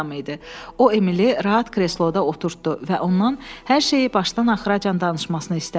O Emili rahat kresloda oturtddu və ondan hər şeyi başdan-axıra danışmasını istədi.